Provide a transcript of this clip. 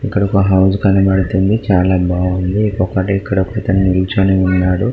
ఇక్కడ ఒక హౌస్ కనబతుంది చాల బాగుంది ఇంకొకటి ఇక్కడ ఒక అతను నిలుచొని ఉన్నాడు.